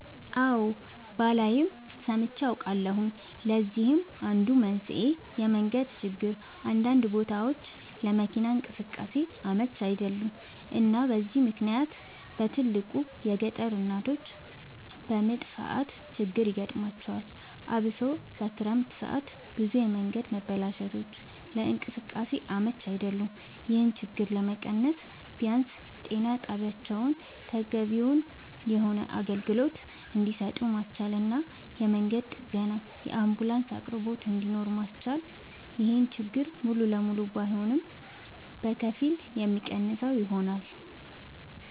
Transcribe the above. አወ ባላይም ሰምቼ አውቃለሁኝ ለዚህም አንዱ መንስኤ የመንገድ ችግር አንዳንድ ቦታወች ለመኪና እንቅስቃሴ አመች አይደሉም እና በዚህ ምክንያት በትልቁ የገጠር እናቶች በምጥ ሰዓት ችግር ይገጥማቸዋል አብሶ በክረምት ሰዓት ብዙ የመንገድ መበላሸቶች ለእንቅስቃሴ አመች አይደሉም ይሄን ችግር ለመቀነስ ቢያንስ ጤና ጣቢያወችን ተገቢውን የሆነ አገልግሎት እንድሰጡ ማስቻልና የመንገድ ጥገናና የአንቡላንስ አቅርቦት እንድኖር ማስቻል ይሄን ችግር ሙሉ ለሙሉ ባይሆንም በከፊል የሚቀንሰው ይሆናል